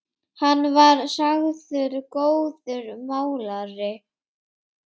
Hann var sagður góður málari.